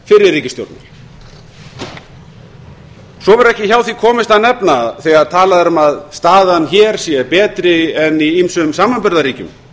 fyrri ríkisstjórnar svo verður ekki hjá því komist að nefna þegar talað er um að staðan hér sé betri en í ýmsum samanburðarríkjum